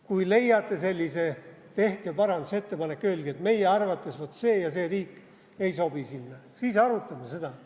Kui leiate sellise, tehke parandusettepanek ja öelge, et teie arvates see ja see riik ei sobi siia, siis arutame seda.